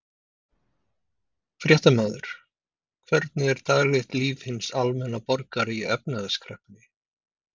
Fréttamaður: Hvernig er daglegt líf hins almenna borgara í efnahagskreppunni?